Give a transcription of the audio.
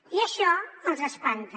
i això els espanta